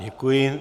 Děkuji.